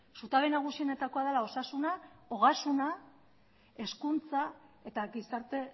zutabe nagusienetakoa dela osasuna ogasuna hezkuntza eta gizarte